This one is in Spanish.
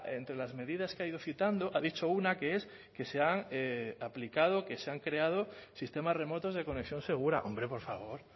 entre las medidas que ha ido citando ha dicho una que es que se han aplicado que se han creado sistemas remotos de conexión segura hombre por favor